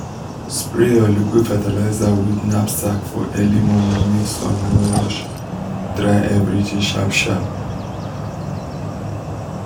spray your liquid fertilizer with knapsack for early momo make sun no rush dry everything sharp sharp.